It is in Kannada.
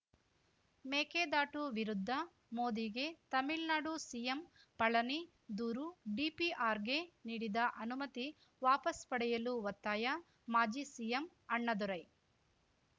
ಮೇಕೆದಾಟು ವಿರುದ್ಧ ಮೋದಿಗೆ ತಮಿಳ್ನಾಡು ಸಿಎಂ ಪಳನಿ ದೂರು ಡಿಪಿಆರ್‌ಗೆ ನೀಡಿದ ಅನುಮತಿ ವಾಪಸ್‌ ಪಡೆಯಲು ಒತ್ತಾಯ ಮಾಜಿ ಸಿಎಂ ಅಣ್ಣಾದೊರೈ